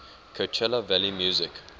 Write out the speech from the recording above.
coachella valley music